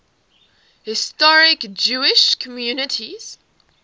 historic jewish communities